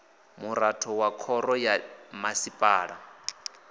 muraḓo wa khoro ya masipala